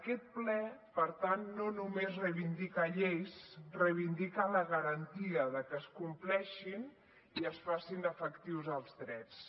aquest ple per tant no només reivindica lleis reivindica la garantia de que es compleixin i es facin efectius els drets